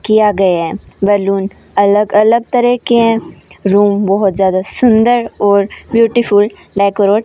किया गया है बैलून अलग अलग तरह के हैं रूम बहुत ज्यादा सुंदर और ब्यूटीफुल लाइक --